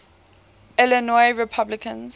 illinois republicans